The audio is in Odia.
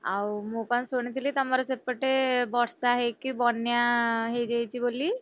ଆଉ ମୁଁ କଣ ଶୁଣି ଥିଲି ତମର ସେପଟେ ବର୍ଷା ହେଇକି ବନ୍ୟା ହେଇଯାଇଛି ବୋଲି?